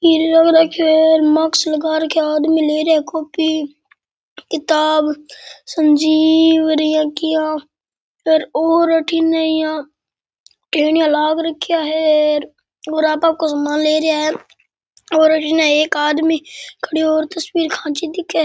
पीलो रखयो है मास्क लगा रखे है आदमी ले रेहो है कॉपी किताब संजीव इया किया और अठीने यहाँ टेनिया लाग राख्या है और आपा को सामान ले रिया है और अठीने एक आदमी खड़याे हूर तस्वीर खाँची दिखे।